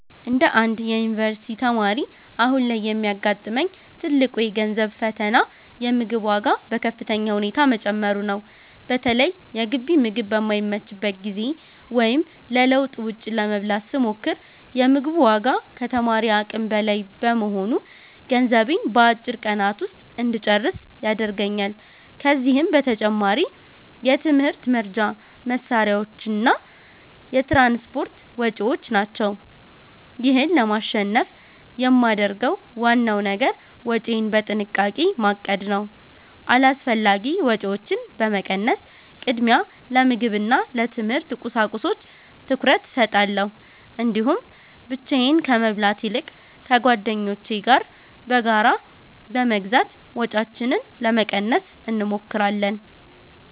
እንደ አንድ የዩኒቨርሲቲ ተማሪ፣ አሁን ላይ የሚያጋጥመኝ ትልቁ የገንዘብ ፈተና የምግብ ዋጋ በከፍተኛ ሁኔታ መጨመሩ ነው። በተለይ የግቢ ምግብ በማይመችበት ጊዜ ወይም ለለውጥ ውጭ ለመብላት ስሞክር፤ የ ምግቡ ዋጋ ከተማሪ አቅም በላይ በመሆኑ ገንዘቤን በአጭር ቀናት ውስጥ እንጨርስ ያደርገኛል። ከዚህም በተጨማሪ የትምህርት መርጃ መሣሪያዎችና የትራንስፖርት ወጪዎች ናቸው። ይህን ለማሸነፍ የማደርገው ዋናው ነገር ወጪዬን በጥንቃቄ ማቀድ ነው። አላስፈላጊ ወጪዎችን በመቀነስ፣ ቅድሚያ ለምግብና ለትምህርት ቁሳቁሶች ትኩረት እሰጣለሁ። እንዲሁም ብቻዬን ከመብላት ይልቅ ከጓደኞቼ ጋር በጋራ በመግዛት ወጪያችንን ለመቀነስ እንሞክራለን።